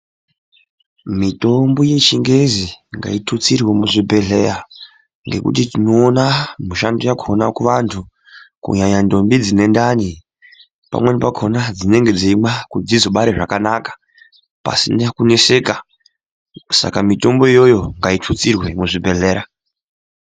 Mitombo yechingezi ngaitutsirwe muzvibhehlera ngekuti tinoona mishando yakona kuvantu kunyanya ntombi dzine ndani pamweni pakona dzinenge dzeimwa kuti dzizobara zvakanaka pasina kuneseka saka mitombo iyoyo ngaitutsirwe muzvibhehlera